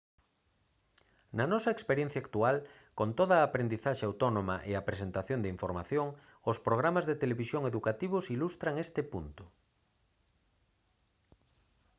na nosa experiencia actual con toda a aprendizaxe autónoma e a presentación de información os programas de televisión educativos ilustran este punto